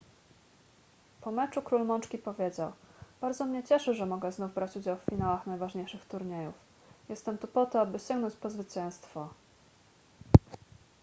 po meczu król mączki powiedział bardzo mnie cieszy że mogę znów brać udział w finałach najważniejszych turniejów jestem tu po to aby sięgnąć po zwycięstwo